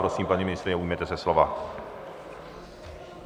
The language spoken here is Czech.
Prosím, paní ministryně, ujměte se slova.